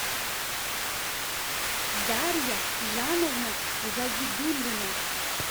дарья жановна загидуллина